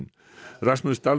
Rasmus